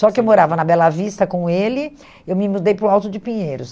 Só que eu morava na Bela Vista com ele, eu me mudei para o Alto de Pinheiros.